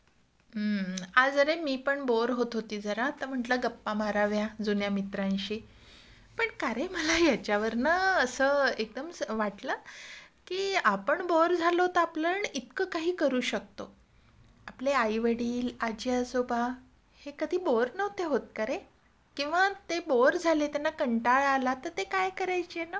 हम्म आज अरे मी पण बोअर होत होती जरा, तर म्हंटलं गप्पा माराव्या जुन्या मित्रांशी.पण का रे मला याच्या वरनं असं एकदम वाटलं, की आपण बोअर झालो तर आपण इतकं काही करू शकतो.आपले आईवडील, आज्जीआजोबा, हे कधी बोअर नव्हते होत का रे? किंवा ते बोअर झाले, त्यांना कंटाळा आला तर ते काय करायचे ना?